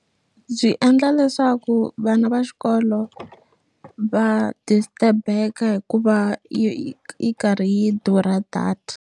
Byi endla leswaku vana va xikolo va disturb-eka hikuva yi yi karhi yi durha data.